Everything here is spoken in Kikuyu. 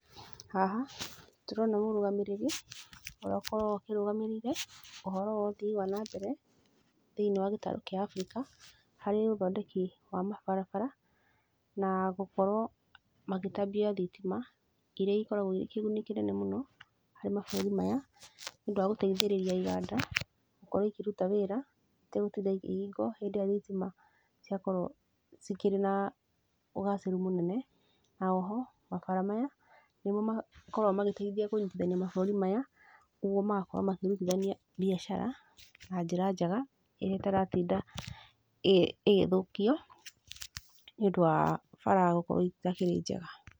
Haha ndĩrona mũrũgamĩrĩri ũrĩa ũkoragwo akĩrũgamĩrĩire ũhoro wa ũthii wa na mbere thĩiniĩ wa gĩtarũ kĩa Africa, harĩ ũthondeki wa mabarabara na gũkorwo magĩtambia thitima iria ikoragwo irĩ kĩguni kĩnene harĩ mabũrũri maya nĩ ũndũ wa gũteithĩrĩria iganda gũkorwo ikĩruta wĩra itegũtinda ikĩhingwo hĩndĩ ĩrĩa thitima ciakorwo cikĩrĩ na ũgacĩru mũnene na oho, mabara maya nĩmo makoragwo magĩteithia kũnyitithania mabũrũri maya nĩguo magakorwo makĩrutithania mbiacara na njĩra njega ĩrĩa ĩtaratinda ĩgĩthũkio, nĩ ũndũ wa bara gũkorwo itakĩrĩ njega.